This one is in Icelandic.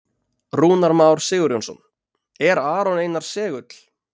Rúnar Már Sigurjónsson: Er Aron Einar segull?